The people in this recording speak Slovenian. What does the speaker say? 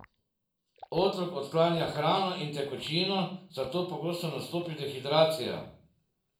Otrok odklanja hrano in tekočino, zato pogosto nastopi dehidracija.